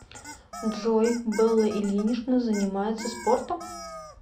джой белла ильинична занимается спортом